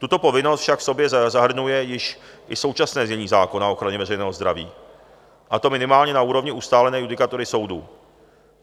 Tuto povinnost však v sobě zahrnuje již i současné znění zákona o ochraně veřejného zdraví, a to minimálně na úrovni ustálené judikatury soudu.